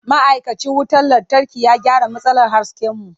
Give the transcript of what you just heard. Ma'aikacin wutar lantarki ya gyara matsalar hasken mu.